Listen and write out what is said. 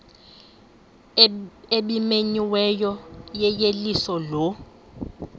ebimenyiwe yeyeliso lo